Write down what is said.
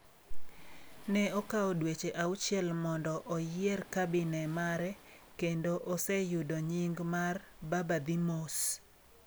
"Ne okawo dweche auchiel mondo oyier kabine mare kendo oseyudo nying' mar "Baba-Dhi-Mos"".